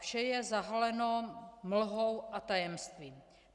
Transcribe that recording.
Vše je zahaleno mlhou a tajemstvím.